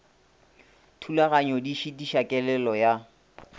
thulaganyo di šitiša kelelo ya